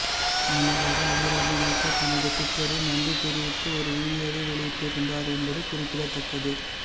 முன்னதாக அபிராமி நேற்று தனது டுவிட்டரில் நன்றி தெரிவித்து ஒரு வீடியோவை வெளியிட்டிருந்தார் என்பது குறிப்பிடத்தக்கது